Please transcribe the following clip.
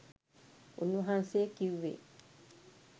උන් වහන්සේ කිව්වේ